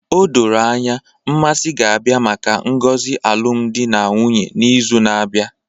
O doro anya, Mmasi ga-abịa maka ngozi alụmdi na nwunye n'izu na-abịa